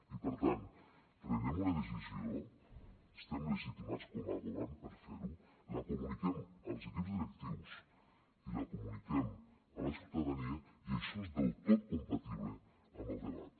i per tant prenem una decisió estem legitimats com a govern per fer ho la comuniquem als equips directius i la comuniquem a la ciutadania i això és del tot compatible amb el debat